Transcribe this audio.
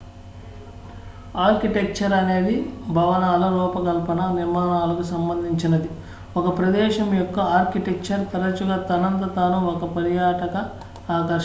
architecture అనేది భవనాల రూపకల్పన నిర్మాణాలకు సంబంధించినది ఒక ప్రదేశం యొక్క ఆర్కిటెక్చర్ తరచుగా తనంత తాను ఒక పర్యాటక ఆకర్షణ